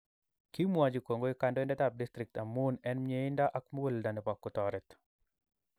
Kimwochi kongoi kandoindetap district amun en myeindo ak muguleldo nepo kotoret